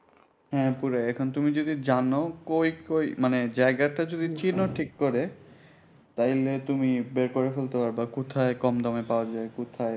হ্যাঁ পুরাই এখন তুমি যদি জানো কই কই মানে জায়গাটা যদি চিনো ঠিক করে তাইলে তুমি বের করে ফেলতে পারবা কোথায় কম দামে পাওয়া যায় কোথায়